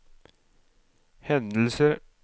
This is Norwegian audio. hendelser